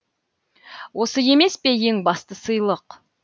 осы емес пе ең басты сыйлық